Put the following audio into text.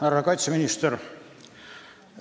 Härra kaitseminister!